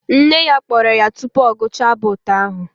Nne ya kpọrọ ya tupu ọ gụchaa abụ ụtọ ahụ